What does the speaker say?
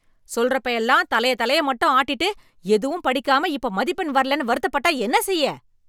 சொல்றப்ப எல்லாம் தலைய தலைய மட்டும் ஆட்டிட்டு எதுவும் படிக்காம இப்ப மதிப்பெண் வர்லென்னு வருத்தப்பட்டா என்ன செய்ய?